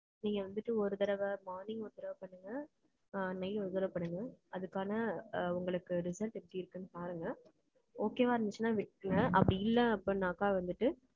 நீங்க வந்துட்டு, ஒரு தடவை, morning ஒரு தடவை பண்ணுங்க. ஆ, நெய்யை ஒரு தடவை பண்ணுங்க. அதுக்கான, அ, உங்களுக்கு result எப்படி இருக்குன்னு பாருங்க. Okay வா இருந்துச்சுன்னா விட்ருங்க, அப்படி இல்லை, அப்படின்னாக்கா வந்துட்டு,